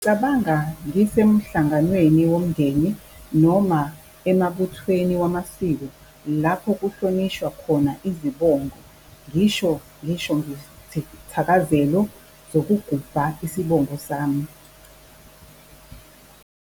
Ngizicabanga ngisemhlanganweni womndeni noma emabuthweni wamasiko lapho kuhlonishwa khona izibongo, ngisho ngisho ngezithakazelo zokugubha isibongo sami.